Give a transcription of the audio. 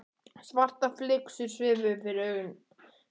Svartar flygsur svifu fyrir augum mér.